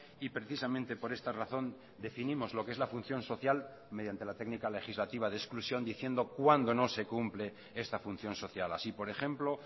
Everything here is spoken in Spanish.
y precisamente por esta razón definimos lo que es la función social mediante la técnica legislativa de exclusión diciendo cuándo no se cumple esta función social así por ejemplo